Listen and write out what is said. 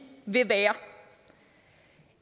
vil være